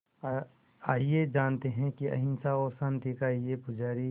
आइए जानते हैं कि अहिंसा और शांति का ये पुजारी